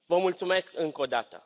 Vă mulțumesc încă o dată.